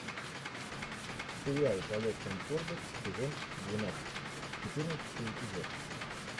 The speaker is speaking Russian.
сериал полет конкордов сезон двенадцать четырнадцатый эпизод